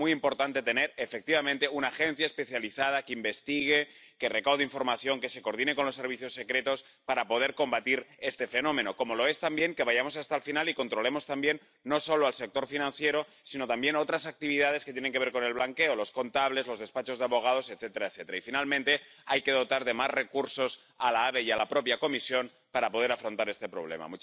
Y es muy importante tener, efectivamente, una agencia especializada que investigue, que recaude información, que se coordine con los servicios secretos para poder combatir este fenómeno, como lo es también que vayamos hasta el final y controlemos también no solo el sector financiero, sino también otras actividades que tienen que ver con el blanqueo los contables, los despachos de abogados, etcétera, etcétera. Y, finalmente, hay que dotar de más recursos a la ABE y a la propia Comisión para poder afrontar este problema.